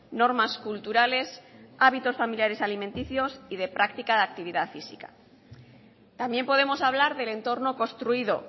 normas culturales hábitos familiares alimenticios y de práctica de actividad física también podemos hablar del entorno construido